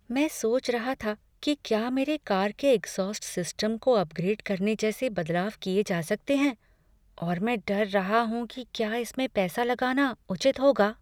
मैं सोच रहा था कि क्या मेरे कार के एग्ज्हॉस्ट सिस्टम को अपग्रेड करने जैसे बदलाव किए जा सकते हैं और मैं डर रहा हूँ कि क्या इसमें पैसा लगाना उचित होगा।